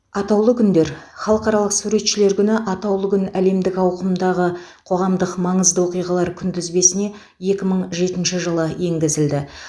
атаулы күндер халықаралық суретшілер күні атаулы күн әлемдік ауқымдағы қоғамдық маңызды оқиғалар күнтізбесіне екі мың жетінші жылы енгізілді